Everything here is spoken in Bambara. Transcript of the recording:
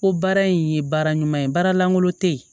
Ko baara in ye baara ɲuman ye baara lankolon tɛ yen